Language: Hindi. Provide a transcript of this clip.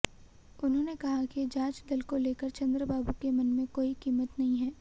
उन्होंने कहा कि जांच दल को लेकर चंद्रबाबू के मन में कोई कीमत नहीं है